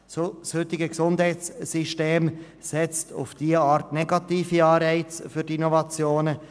Das heutige Gesundheitssystem setzt auf diese Weise negative Anreize für die Innovation.